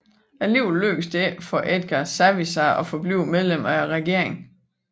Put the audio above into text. Alligevel lykkedes det ikke for Edgar Savisaar at forblive medlem af regeringen